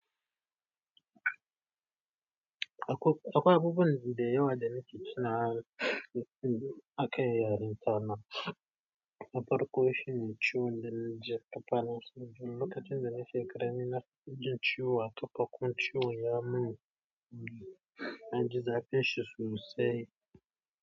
Akwai abubuwa da yawa da na ci tun a akai yaren ta na, na farko shi ne ciwon da na ji ƙafana, lokacin da na fikira min na jin ciwo a ƙafafu ciwon ya mun, an ji zafin shi sosai.